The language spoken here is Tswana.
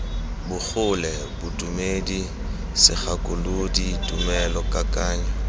bogole bodumedi segakolodi tumelo kakanyo